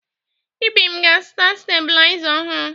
Ibim ga-azụta stebuliza ọhụrụ.